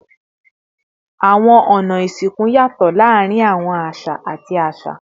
Awọn ọna isinku yatọ laarin awọn aṣa ati aṣa